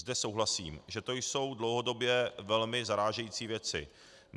Zde souhlasím, že to jsou dlouhodobě velmi zarážející věci.